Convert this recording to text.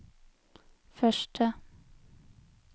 første